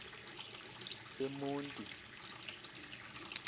emonti